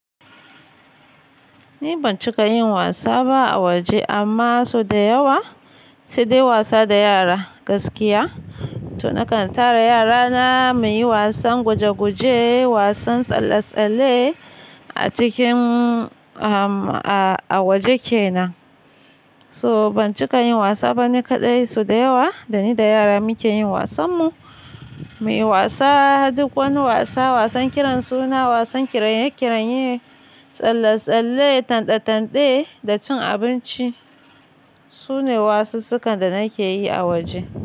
Ni ban cika yin wasa ba a waje amma so da yawa sai dai wasa da yara gaskiya. To nakan tara yarana muyi wasan guje-guje, wasan tsalle-tsalle a cikin a waje kenan. So ban cika yin wasa ba ni kaɗai so da yawa dani da yara muke yin wasan mu. Muyi wasa duk wani wasa, wasan kiran suna, wasan kiranye kiranye, tsalle-tsalle, tande-tande da cin abinci. Sune wasussukan da nake yi a waje.